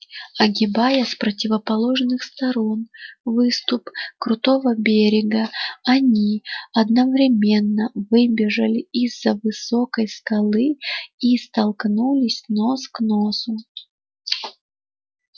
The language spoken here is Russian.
огибая с противоположных сторон выступ крутого берега они одновременно выбежали из за высокой скалы и столкнулись нос к носу